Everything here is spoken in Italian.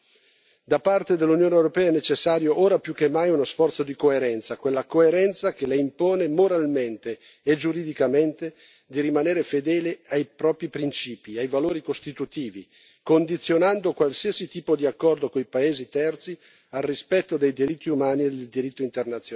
Da parte dell'Unione europea è necessario, ora più che mai, uno sforzo di coerenza, quella coerenza che le impone moralmente e giuridicamente di rimanere fedele ai propri principi e ai valori costitutivi, condizionando qualsiasi tipo di accordo con i paesi terzi al rispetto dei diritti umani e del diritto internazionale.